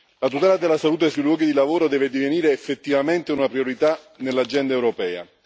La tutela della salute sui luoghi di lavoro deve divenire effettivamente una priorità nell'agenda europea.